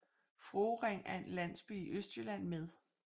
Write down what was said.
Fruering er en landsby i Østjylland med